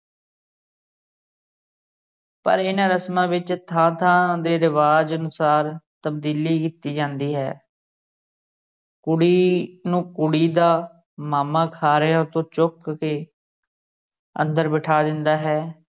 ਪਰ ਇਹਨਾਂ ਰਸਮਾਂ ਵਿਚ ਥਾਂ ਥਾਂ ਦੇ ਰਿਵਾਜ਼ ਅਨੁਸਾਰ ਤਬਦੀਲੀ ਕੀਤੀ ਜਾਂਦੀ ਹੈ ਕੁੜੀ ਨੂੰ ਕੁੜੀ ਦਾ ਮਾਮਾ ਖ਼ਾਰਿਓ ਤੋਂ ਚੁੱਕ ਕੇ ਅੰਦਰ ਬਿਠਾ ਦਿੰਦਾ ਹੈ।